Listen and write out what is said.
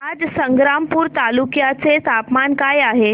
आज संग्रामपूर तालुक्या चे तापमान काय आहे